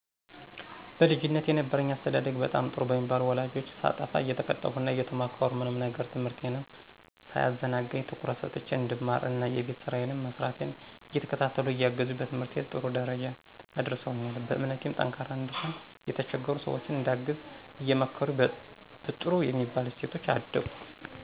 በልጅነቴ የነበረኝ አስተዳደግ በጣም ጥሩ በሚባሉ ወላጆች ሳጠፋ እየተቀጣሁ እና እየተመከርኩ፣ ምንም ነገር ትምህርቴንም ሳያዘናጋኝ ትኩረት ሰጥቸ እንድማር እና የቤት ስራየንም መስራቴን እየተከታተሉ እያገዙኝ በትምህርቴ ጥሩ ደረጃ አድርሰውኛል። በእምነቴም ጠንካራ እንድሆን፣ የተቸገሩ ሰወችን እንዳግዝ አየመከሩኝ በጥሩ በሚባል እሴቶች አደኩ።